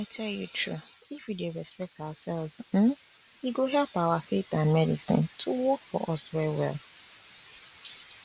i tell you true if we dey respect ourselves uhm e go help our faith and medicine to work for us well well